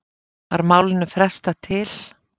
Var málinu frestað til